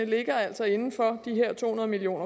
ligger altså inden for de her to hundrede million